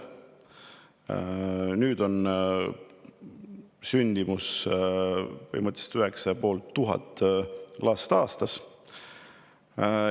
Põhimõtteliselt meil aastas 9500 last.